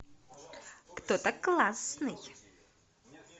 кто то классный